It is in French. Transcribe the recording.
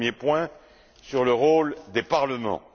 Un premier point sur le rôle des parlements.